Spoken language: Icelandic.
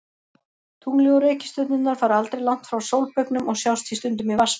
Tunglið og reikistjörnurnar fara aldrei langt frá sólbaugnum og sjást því stundum í Vatnsberanum.